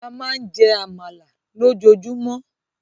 A máa ń jẹ́ Àmàlà lójoojúmọ́